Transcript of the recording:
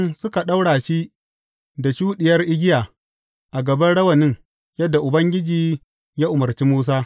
Sa’an nan suka ɗaura shi da shuɗiyar igiya a gaban rawanin, yadda Ubangiji ya umarci Musa.